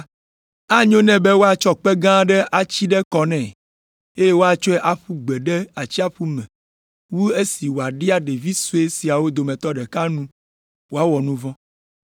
Anyo nɛ be woatsɔ kpe gã aɖe atsi ɖe kɔ nɛ, eye woatsɔe ƒu gbe ɖe atsiaƒu me wu esi wòaɖia ɖevi sue siawo dometɔ ɖeka nu wòawɔ nu vɔ̃.